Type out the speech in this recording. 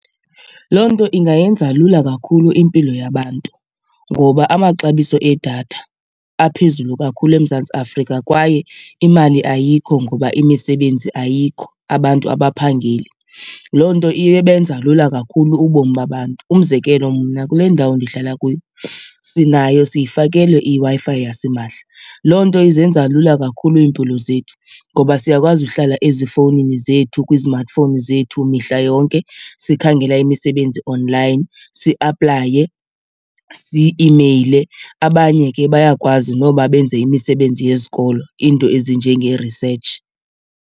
Loo nto ingayenza lula kakhulu impilo yabantu ngoba amaxabiso edatha aphezulu kakhulu eMzantsi Afrika kwaye imali ayikho ngoba imisebenzi ayikho, abantu abaphangeli. Loo nto ibenza lula kakhulu ubomi babantu. Umzekelo mna kule ndawo ndihlala kuyo sinayo siyifakelwe iWi-Fi yasimahla, loo nto izenza lula kakhulu iimpilo zethu ngoba siyakwazi uhlala ezifowunini zethu kwi-smartphone zethu mihla yonke sikhangela imisebenzi online siaplaye, si-imeyile. Abanye ke bayakwazi noba benze imisebenzi yezikolo, iinto ezinjenge-research.